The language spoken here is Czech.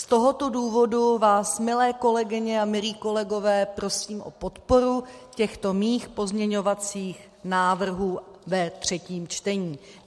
Z tohoto důvodu vás, milé kolegyně a milí kolegové, prosím o podporu těchto svých pozměňovacích návrhů ve třetím čtení.